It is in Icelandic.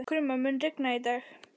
Krumma, mun rigna í dag?